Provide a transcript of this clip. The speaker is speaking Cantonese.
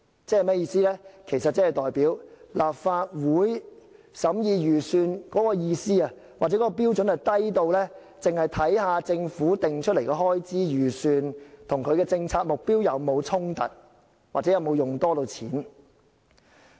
這代表立法會審議預算案的標準，低到只看政府訂立的開支預算與政策目標有否衝突，或有否多用錢。